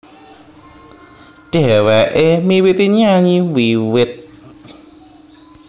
Dhèwèké miwiti nyanyi wiwit